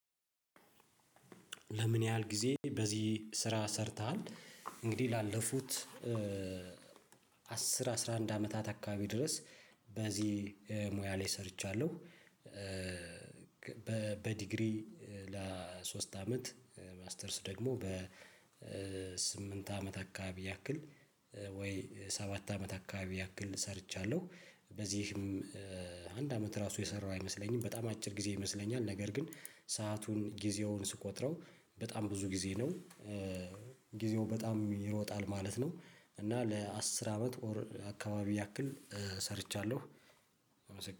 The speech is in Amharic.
ለምን ያህል ጊዜ በዚህ ስራ ሰርተሃል እንግዲህ ላለፉት አስር አስራ አንድ አመታት አካባቢ ድረስ በዚህ ሙያ ላይ ሰርቻለሁ። በዲግሪ ለሶስት አመት ማስተርስ ደግሞ በስምንት አመት አካባቢ ያክል ወይ ሰባት አመት አካባቢ ያክል ሰርቻለሁ። በዚህም አንድ አመት ራሱ የሰራው አይመስለኝም በጣም አጭር ጊዜ ይመስለኛል ነገር ግን ሰአቱን ጊዜውን ስቆጥረው በጣም ብዙ ጊዜ ነው። ጊዜው በጣም ይሮጣል ማለት ነው እና ለአስር አመት ኦር አካባቢ ያክል ሰርቻለሁ